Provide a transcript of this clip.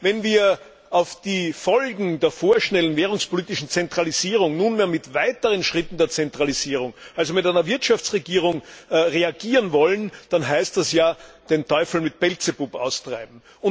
Wenn wir auf die Folgen der vorschnellen währungspolitischen Zentralisierung nunmehr mit weiteren Schritten der Zentralisierung also mit einer Wirtschaftsregierung reagieren wollen, dann heißt das ja, den Teufel mit dem Beelzebub auszutreiben.